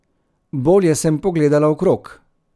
Bolje sem pogledala okrog.